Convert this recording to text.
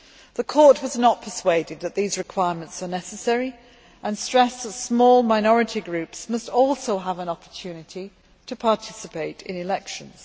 The Court was not persuaded that these requirements are necessary, and stressed that small minority groups must also have an opportunity to participate in elections.